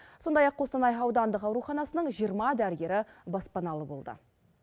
сондай ақ қостанай аудандық ауруханасының жиырма дәрігері баспаналы болды